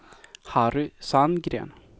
Harry Sandgren